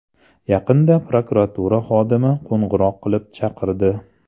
Yaqinda prokuratura xodimi qo‘ng‘iroq qilib chaqirdi.